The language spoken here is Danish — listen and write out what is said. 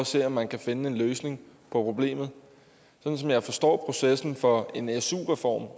se om man kan finde en løsning på problemet sådan som jeg forstår processen for en en su reform